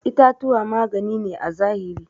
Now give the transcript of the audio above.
itatuwa magani ne à zahiri.